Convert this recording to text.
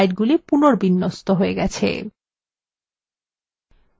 স্লাইডগুলি পুনর্বিন্যস্ত হয়ে গেছে